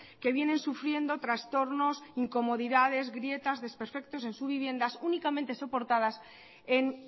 que vienen sufriendo trastornos incomodidades grietas desperfectos en sus viviendas únicamente soportadas en